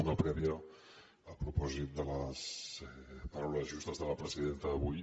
una prèvia a propòsit de les paraules justes de la presidenta d’avui